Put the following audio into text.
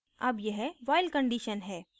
अब यह while condition है